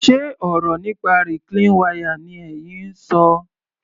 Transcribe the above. Ṣe ọ̀rọ̀ nípa reclean wire ni ẹyin ń ṣọ?